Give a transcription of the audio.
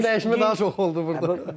Əyin dəyişmək daha çox oldu burda.